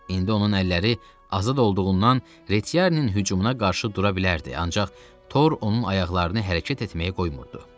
İndi onun əlləri azad olduğundan Reçiarinin hücumuna qarşı dura bilərdi, ancaq tor onun ayaqlarını hərəkət etməyə qoymurdu.